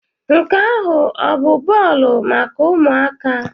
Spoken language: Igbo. Nke ahụ ọ bụ bọọlụ maka ụmụaka?